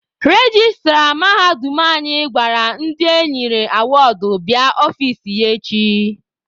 Rejistra mahadum anyị gwara ndị enyere awọọdụ bịa n'ọfici ya.